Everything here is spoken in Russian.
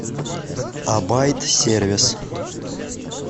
абайт сервис